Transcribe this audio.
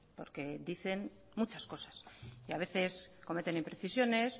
porque dicen muchas cosas y a veces cometen imprecisiones